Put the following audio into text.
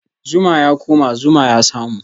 Zuma ya koma, zuma ya samu